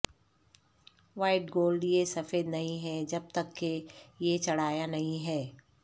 white gold یہ سفید نہیں ہے جب تک کہ یہ چڑھایا نہیں ہے